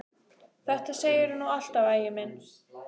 Þetta segirðu nú alltaf, Ægir minn!